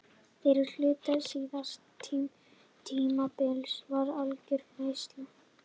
Fyrri hluti síðasta tímabils var algjör veisla.